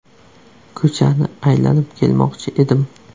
Ko‘chani aylanib kelmoqchi edim.